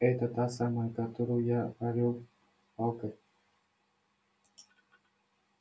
это та самая которую я огрел палкой